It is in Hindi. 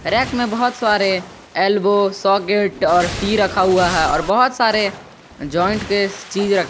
रैक में बहुत सारे एल्बो सॉकेट और टी रखा हुआ है और बहुत सारे ज्वाइंट के चीज रखे--